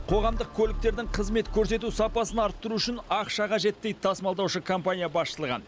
қоғамдық көліктердің қызмет көрсету сапасын арттыру үшін ақша қажет дейді тасымалдаушы компания басшылығы